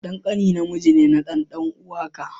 Dan ƙane namiji ne na dan dan'uwaka.